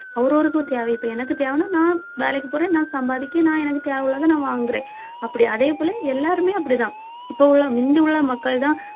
அவர் ஒருவருக்கும் தேவை இப்ப எனக்கு தேவைன்னா நான் வேலைக்கு போறேன் நான் சம்பாதிக்க நான் எனக்கு தேவை உள்ளதை நான் வாங்குறேன் அப்படி அதே போல எல்லாருமே அப்படிதான் இப்ப உள்ள முந்தியுள்ள மக்கள்தான்